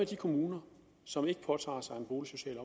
de kommuner som ikke påtager sig en boligsocial